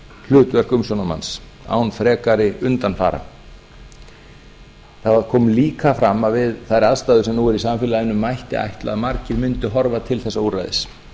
hlutverk umsjónarmanns án frekari undanfara það kom líka fram að við þær aðstæður sem nú eru í samfélaginu mætti ætla að margir mundu horfa til þessa úrræðis